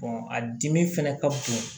a dimi fɛnɛ ka bon